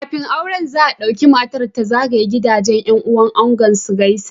Kafin aure za a dauki matar ta zagaya gidan yan uwan angon su gaisa